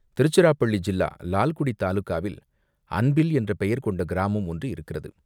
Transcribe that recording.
திருச்சிராப்பள்ளி ஜில்லா லால்குடி தாலுகாவில் அன்பில் என்ற பெயர் கொண்ட கிராமம் ஒன்று இருக்கிறது.